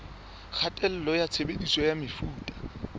kgatello ya tshebediso ya mefuta